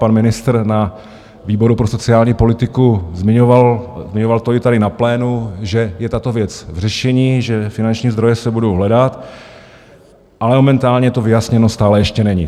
Pan ministr na výboru pro sociální politiku zmiňoval - zmiňoval to i tady na plénu - že je tato věc v řešení, že finanční zdroje se budou hledat, ale momentálně to vyjasněno stále ještě není.